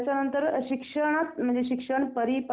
अच्छा कोणत्या देवीची यात्रा असते तिथे?